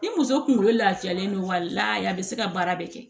Ni muso kunkolo lafiyalen don wa a bɛ se ka baara bɛɛ kɛ